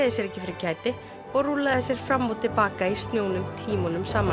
sér ekki fyrir kæti og rúllaði sér fram og til baka í snjónum tímunum saman